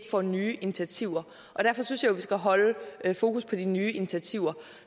tager nye initiativer og derfor synes jeg jo vi skal holde fokus på de nye initiativer